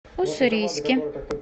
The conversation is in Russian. уссурийске